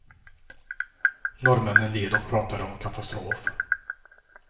Norrmännen led och pratade om katastrof.